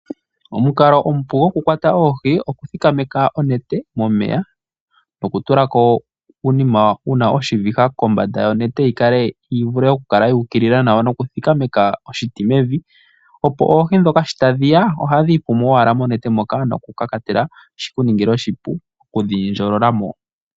Omukalo omupu gwokukwata oohi okuthikameka onete momeya, nokutula ko uunima wuna oshiviha kombanda yonete yi vule okukala yu ukilila nawa nokuthikameka oshiti mevi, opo oohi ndhoka sho tadhi ya ohadhi ipumu owala noku kakatela shikuningile oshipu okudhi ndjolola mo.